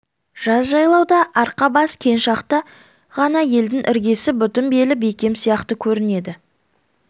жаз жайлауда арқа-бас кең шақта ғана елдің іргесі бүтін белі бекем сияқты көрінеді